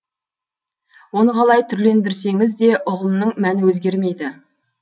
оны қалай түрлендірсеңіз де ұғымның мәні өзгермейді